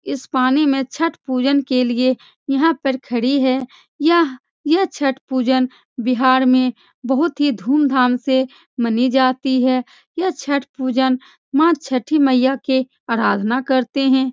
इस पानी में छठ पूजन के लिए यहाँ पर खड़ी है यह यह छठ पूजन बिहार में बहोत ही धूमधाम से मनी जाती है यह छठ पूजन माँ छठी मइया के आराधना करते हैं।